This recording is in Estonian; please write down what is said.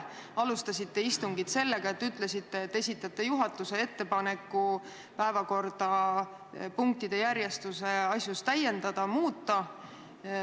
Te alustasite istungit sellega, et ütlesite, et esitate juhatuse ettepaneku päevakorda punktide järjestuse asjus täiendada või muuta.